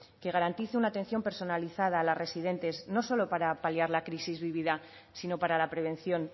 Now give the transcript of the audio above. que garantice una atención personalizada a las residentes no solo para paliar la crisis vivida sino para la prevención